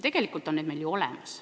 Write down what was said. Tegelikult on need ju meil olemas.